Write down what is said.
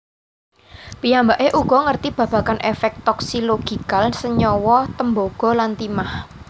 Piyambaké uga ngerti babagan efek toxilogical senyawa tembaga lan timah